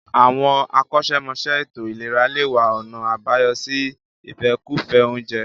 Àwọn akọ́ṣẹ́mọṣẹ́ ètò ìlera lè wá ọ̀nà àbáyọ sí ìfẹ́kùfẹ́ oúnjẹ